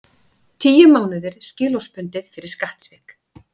Tíu mánuðir skilorðsbundið fyrir skattsvik